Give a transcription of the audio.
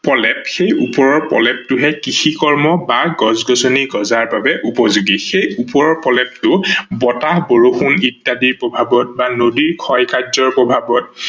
প্ৰলেপ, সেই ওপৰৰ প্ৰলেপটোহে কৃষি কৰ্ম বা গছ-গছনি গজাৰ বাবে উপযোগী। সেই ওপৰৰ প্ৰলেপটো বতাহ- বৰষুন ইত্যাদি প্ৰভাৱত বা নদীৰ ক্ষয় কাৰ্যৰ প্ৰভাৱত